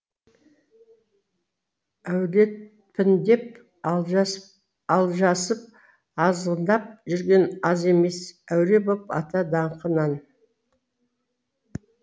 әулетпін деп алжасып алжасып азғындап жүрген аз емес әуре боп ата даңқынан